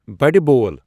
بَڑِ بۄل ۔